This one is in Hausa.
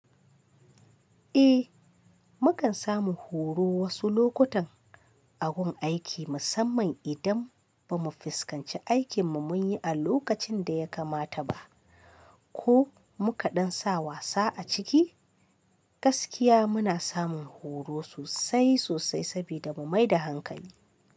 Eh, mu kan samu horo wasu lokutan a gun aiki musamman idan ba mu fuskanci aikin mu mun yi a lokacin da ya kamata ba, ko mu ka ɗan sa wasa a ciki, gaskiya muna samun horo sosai sosai sabida mu mai da hankali.